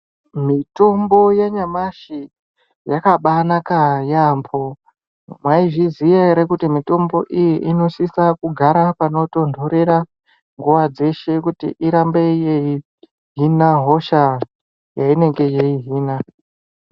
Mitombo yenyamashi yakabanaka yaambo. Mwaizviziya ere kuti mitombo iyi inosisa kugara panotondorera nguva dzeshe kuti irambe yeihina hosha yeinenge yeihina?